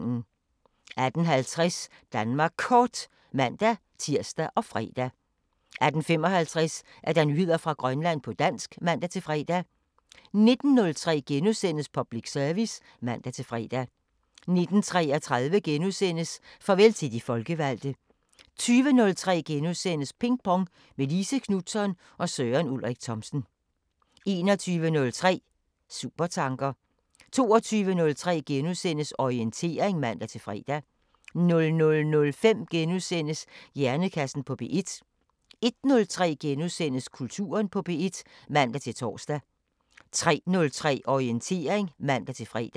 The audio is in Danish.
18:50: Danmark Kort (man-tir og fre) 18:55: Nyheder fra Grønland på dansk (man-fre) 19:03: Public Service *(man-fre) 19:33: Farvel til de folkevalgte * 20:03: Ping Pong – med Line Knutzon og Søren Ulrik Thomsen * 21:03: Supertanker 22:03: Orientering *(man-fre) 00:05: Hjernekassen på P1 * 01:03: Kulturen på P1 *(man-tor) 03:03: Orientering (man-fre)